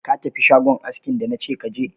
Ka tafi shagon askin da nace ka je?